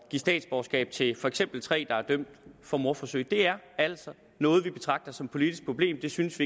give statsborgerskab til for eksempel tre der er dømt for mordforsøg det er altså noget vi betragter som et politisk problem det synes